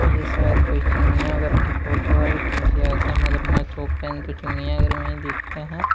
ये शायद कोई चिड़ियाघर की फोटो है क्योंकि ऐसे मगरमच्छ ओपन तो चिड़ियाघर में ही दिखते हैं।